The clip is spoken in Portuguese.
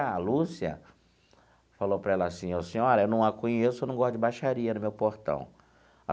A Lúcia falou para ela assim, ô senhora, eu não a conheço, eu não gosto de baixaria no meu portão.